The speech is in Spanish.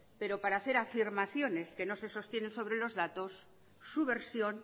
pero para hacer afirmaciones que no se sostienen sobre los datos su versión